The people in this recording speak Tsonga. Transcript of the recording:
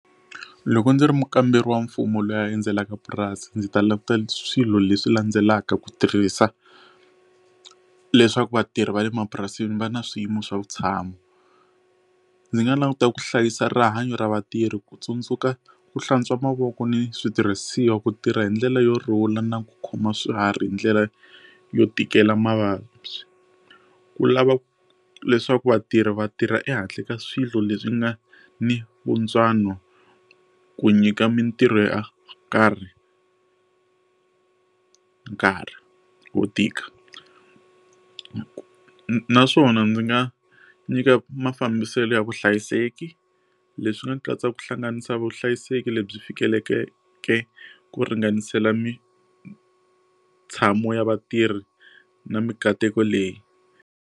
Loko ndzi ri mukamberi wa mfumo loyi a endzelaka purasi ndzi ta languta swilo leswi landzelaka ku tirhisa leswaku vatirhi va le mapurasini va na swiyimo swa vutshamo ndzi nga languta ku hlayisa rihanyo ra vatirhi ku tsundzuka ku hlantswa mavoko ni switirhisiwa ku tirha hindlela yo rhula na ku khoma swiharhi hi ndlela yo tikela mavabyi ku lava leswaku vatirhi vatirha ehandle ka swilo leswi nga ni vuntswano ku nyika mintirho ya karhi nkarhi wo tika ku ku naswona ndzi nga nyika mafambiselo ya vuhlayiseki leswi nga katsa ku hlanganisa vuhlayiseki lebyi fikelekeke ku ringanisela mitshami ya vatirhi na mikateko leyi.